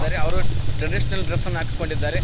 ಹಾಗೆ ಅವರು ಟ್ರೆಡಿಷನಲ್ ಡ್ರೆಸ್ಸನ್ನ ಹಾಕಿಕೊಂಡಿದ್ದಾರೆ.